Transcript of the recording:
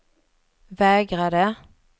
vägrade